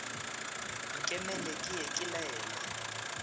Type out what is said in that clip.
nkemele ke ye ke laele